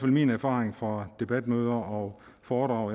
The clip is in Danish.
min erfaring fra debatmøder og foredrag